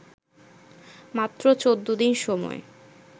মাত্র ১৪ দিন সময়